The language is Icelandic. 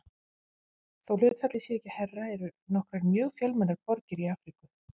Þó hlutfallið sé ekki hærra eru nokkrar mjög fjölmennar borgir í Afríku.